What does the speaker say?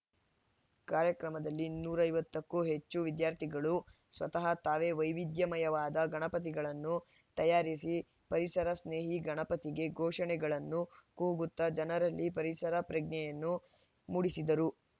ಕಾರ್ಯಕ್ರಮದಲ್ಲಿ ನೂರ ಐವತ್ತಕ್ಕೂ ಹೆಚ್ಚು ವಿದ್ಯಾರ್ಥಿಗಳು ಸ್ವತಃ ತಾವೇ ವೈವಿಧ್ಯಮಯವಾದ ಗಣಪತಿಗಳನ್ನು ತಯಾರಿಸಿ ಪರಿಸರ ಸ್ನೇಹಿ ಗಣಪತಿಗೆ ಘೋಷಣೆಗಳನ್ನು ಕೂಗುತ್ತಾ ಜನರಲ್ಲಿ ಪರಿಸರ ಪ್ರಜ್ಞೆಯನ್ನು ಮೂಡಿಸಿದರು